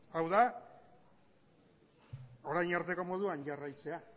hau da orain arteko moduan jarraitzea